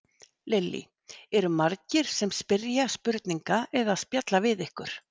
Lillý: Eru margir sem spyrja spurninga eða spjalla við ykkur?